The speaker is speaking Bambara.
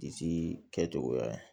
Disi kɛcogoya